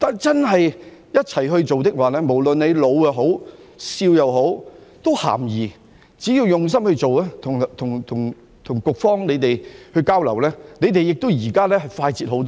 只要我們一起做，不論老少也是咸宜的，只要用心做，與局方交流，它們現時也快捷了很多。